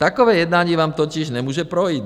- Takové jednání vám totiž nemůže projít.